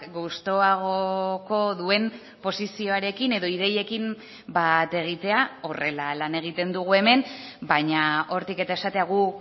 gustuagoko duen posizioarekin edo ideiekin bat egitea horrela lan egiten dugu hemen baina hortik eta esatea gu